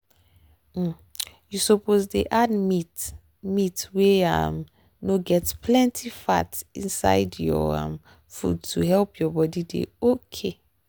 um you suppose dey add meat meat wey um no get plenty fat inside your um food to help your body dey okay.